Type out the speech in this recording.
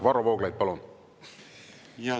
Varro Vooglaid, palun!